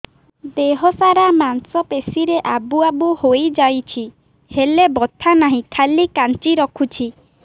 ଦେହ ସାରା ମାଂସ ପେଷି ରେ ଆବୁ ଆବୁ ହୋଇଯାଇଛି ହେଲେ ବଥା ନାହିଁ ଖାଲି କାଞ୍ଚି ରଖୁଛି